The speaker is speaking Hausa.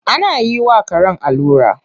Ana yi wa karen allura.